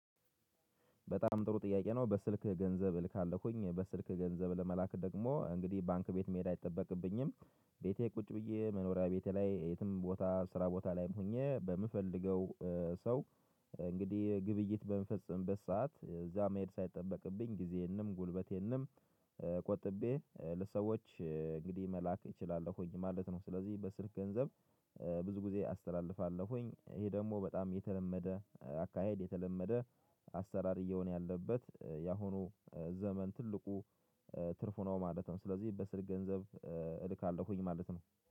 በጣም ጥሩ ጥያቄ ነው በስልክ ገንዘብ እልካለሁኝ በስልክ ገንዘብ ለመላክ ደግሞ እንግዲህ ባንክ ቤት መሄድ አይጠበቅብኝም። ቤቴ ቁጭ ብዬ መኖሪያ ቤቴ ላይ የትም ቦታ ስራ ቦታ ላይም ሆኜ በምፈልገው ሰው እንግዲህ ግብይት በምፈጽምበት ሰዓት እዛ መሄድ ሳይጠበቅብኝ ጊዜዬንም ጉልበቴንም ቆጥቤ ለሰዎች እንግዲህ መላክ እችላለሁ ኝ ማለት ነው። ስለዚህ በስልክ ገንዘብ ብዙ ጊዜ አስተላልፋለሁኝ ይሄ ደግሞ በጣም የተለመደ አካሄድ የተለመደ አሰራር እየሆነ ያለበት የአሁኑ ዘመን ትልቁ ትርፉ ነው ማለት ነው። ስለዚህ በስልክ ገንዘብ እልካለሁኝ ማለት ነው